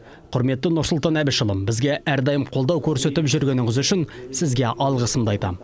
құрметті нұрсұлтан әбішұлі бізге әр дайым қолдау көрсетіп жүргеніңіз үшін сізге алғысымды айтамын